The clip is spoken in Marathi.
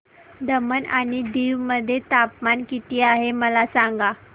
दमण आणि दीव मध्ये तापमान किती आहे मला सांगा